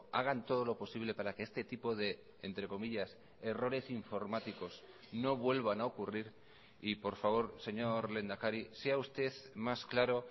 hagan todo lo posible para que este tipo de entre comillas errores informáticos no vuelvan a ocurrir y por favor señor lehendakari sea usted más claro